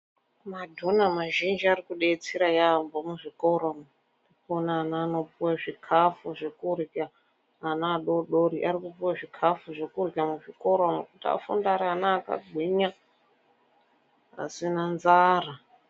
Madhona mazhinji arikudetsera yaamho muzvikora umu. Unoona ana anopuwa zvikafu zvekurya. Ana adoodori arikukupuwe zvikafu zvekurya muzvikora umu kuti afunde ari ana akagwinya, pasina nzara.